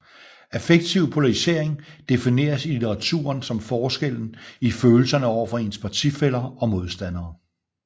Affektiv polarisering defineres i litteraturen som forskellen i følelserne over for ens partifæller og modstandere